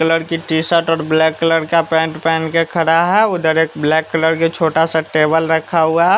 Colour की t shirt और black colour का पेंट पहन के खड़ा है उधर एक ब्लैक कलर के छोटा सा टेबल रखा हुआ।